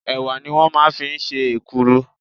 Ẹ̀wà ni wọ́n máa ń fi ń ṣe èkuru.